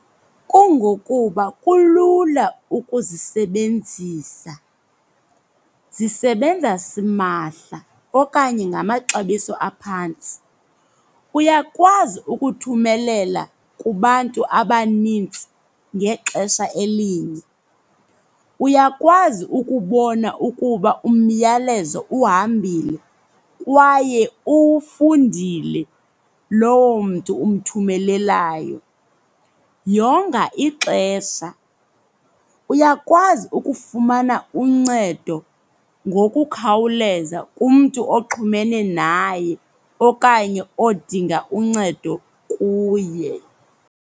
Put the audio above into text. Kungokuba kulula ukuzisebenzisa. Zisebenza simahla okanye ngamaxabiso aphantsi. Uyakwazi ukuthumelela kubantu abanintsi ngexesha elinye. Uyakwazi ukubona ukuba umyalezo uhambile kwaye uwufundile loo mntu umthumelelayo. Yonga ixesha. Uyakwazi ukufumana uncedo ngokukhawuleza kumntu oxhumene naye okanye odinga uncedo kuye.